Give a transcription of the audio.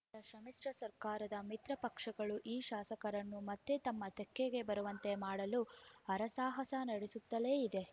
ಇತ್ತ ಸಮ್ಮಿಶ್ರ ಸರ್ಕಾರದ ಮಿತ್ರ ಪಕ್ಷಗಳು ಈ ಶಾಸಕರನ್ನು ಮತ್ತೆ ತಮ್ಮ ತೆಕ್ಕೆಗೆ ಬರುವಂತೆ ಮಾಡಲು ಹರಸಾಹಸ ನಡೆಸುತ್ತಲೇ ಇದೆ